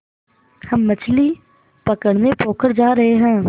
हम मछली पकड़ने पोखर जा रहें हैं